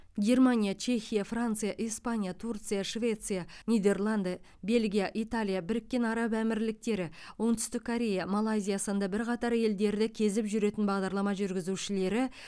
германия чехия франция испания турция швеция нидерланд бельгия италия біріккен араб әмірліктері оңтүстік корея малайзия сынды бірқатар елдерді кезіп жүретін бағдарлама жүргізушілері